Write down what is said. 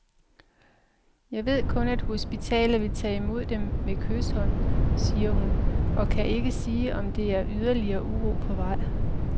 Jeg ved kun, at hospitalet vil tage imod dem med kyshånd, siger hun, og kan ikke sige om der er ydeligere uro på vej.